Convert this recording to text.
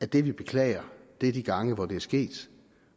det vi beklager er de gange hvor det er sket